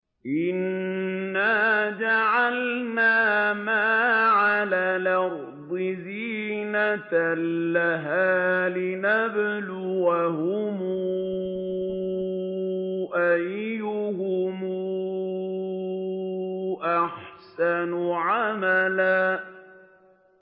إِنَّا جَعَلْنَا مَا عَلَى الْأَرْضِ زِينَةً لَّهَا لِنَبْلُوَهُمْ أَيُّهُمْ أَحْسَنُ عَمَلًا